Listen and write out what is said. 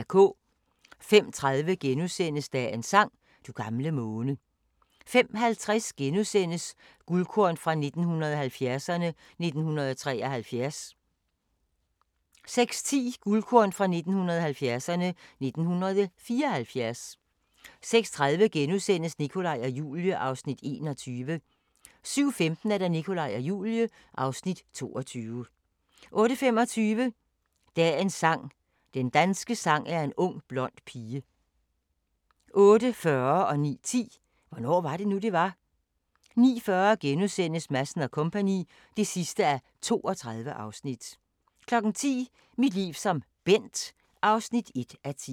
05:30: Dagens sang: Du gamle måne * 05:50: Guldkorn 1970'erne: 1973 * 06:10: Guldkorn 1970'erne: 1974 06:30: Nikolaj og Julie (Afs. 21)* 07:15: Nikolaj og Julie (Afs. 22) 08:25: Dagens sang: Den danske sang er en ung blond pige 08:40: Hvornår var det nu, det var? * 09:10: Hvornår var det nu, det var? * 09:40: Madsen & Co. (32:32)* 10:00: Mit liv som Bent (1:10)